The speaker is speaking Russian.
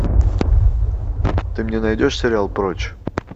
ты мне найдешь сериал прочь